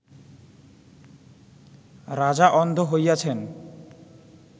রাজা অন্ধ হইয়াছেন